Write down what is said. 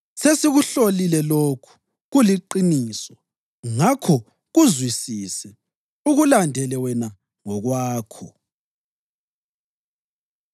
Sesikuhlolile lokhu, kuliqiniso. Ngakho kuzwisise, ukulandele wena ngokwakho.”